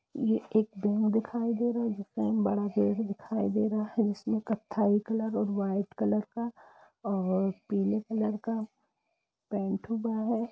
ये एक बैंक दिखाई दे रहा जिसमें एक बड़ा गेट दिखाई दे रहा है इसमें कत्थई कलर और वाइट कलर का और पीले कलर का पेंट हुआ है।